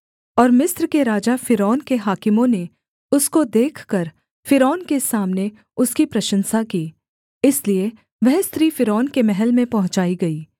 और मिस्र के राजा फ़िरौन के हाकिमों ने उसको देखकर फ़िरौन के सामने उसकी प्रशंसा की इसलिए वह स्त्री फ़िरौन के महल में पहुँचाई गई